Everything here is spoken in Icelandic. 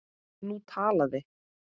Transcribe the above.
Nú talaði